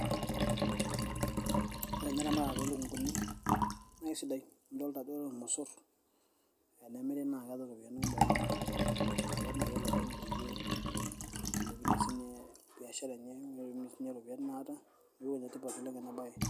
Ore nye eramatare oolukunguni naa isidai idolta ajo ore irmosorr tenemiri naa keeta iropiani kumok oleng naaret naaji olopeny peyie eilepunyie siinye biashara enye niaku enetipat oleng ena baye.